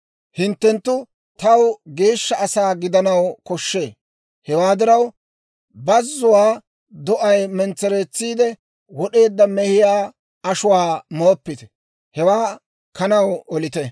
«Hinttenttu taw geeshsha asaa gidanaw koshshee; hewaa diraw, bazuwaa do'ay mentsereetsiide wod'eedda mehiyaa ashuwaa mooppite; hewaa kanaw olite.